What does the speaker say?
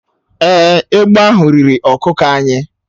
Èé, egbe ahụ riri ọkụkọ anyị.